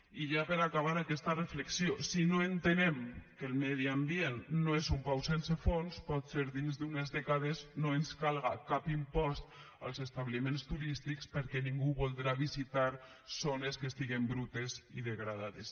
i ja per acabar aquesta reflexió si no entenem que el medi ambient no és un pou sense fons potser dins d’unes dècades no ens calga cap impost als establiments turístics perquè ningú voldrà visitar zones que estiguen brutes i degradades